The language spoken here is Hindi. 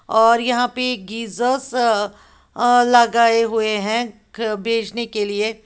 और यहां पे गीजर्स लगाए हुए है बेचने के लिए।